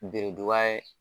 Beredu ba ye